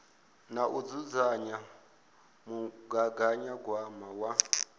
na u dzudzanya mugaganyagwama wa